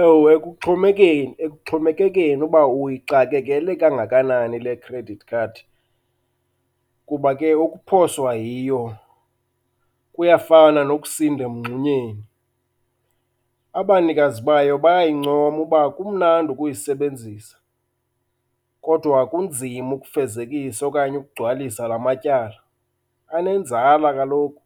Ewe ekuxhomekeni, ekuxhomekekeni uba uyixakekele kangakanani le credit card, kuba ke ukuphoswa yiyo kuyafana nokusinda emngxunyeni. Abanikazi bayo bayayincoma uba kumnandi ukuyisebenzisa kodwa kunzima ukufezekisa okanye ukugcwalisa la matyala. Anenzala kaloku